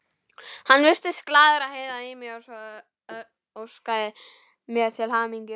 Hann virtist glaður að heyra í mér og óskaði mér til hamingju.